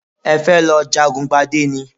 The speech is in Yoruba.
Ẹ fẹ́ lọ jagun gbadé ni?